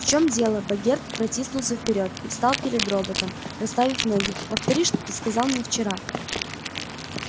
в чём дело богерт протиснулся вперёд и встал перед роботом расставив ноги повтори что ты сказал мне вчера